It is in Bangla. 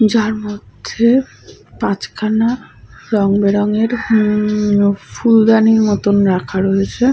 যার মধ্যে-এ পাঁচখানা রং বেরং এর উম-উম ফুলদানি মতন রাখা রয়েছে।